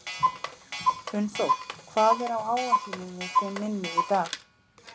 Unnþór, hvað er á áætluninni minni í dag?